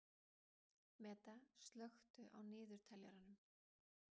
Meda, slökktu á niðurteljaranum.